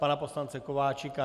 Pana poslance Kováčika?